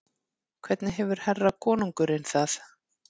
Hvernig hefur herra konungurinn það?